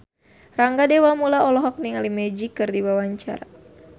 Rangga Dewamoela olohok ningali Magic keur diwawancara